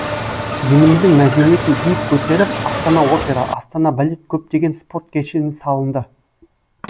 еліміздің мәдениетін биік көтеріп астана опера астана балет көптеген спорт кешені салынды